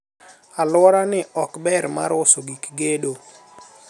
alworani ok ber mar uso gik gedo